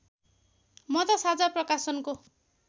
म त साझा प्रकाशनको